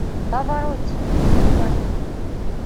паваротти врубай